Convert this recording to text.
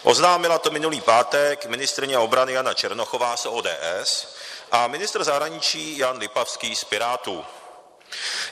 Oznámila to minulý pátek ministryně obrany Jana Černochová z ODS a ministr zahraničí Jan Lipavský z Pirátů.